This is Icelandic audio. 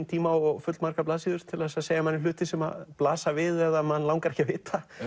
tíma og full margar blaðsíður til að segja hluti sem blasa við eða mann langar ekki að vita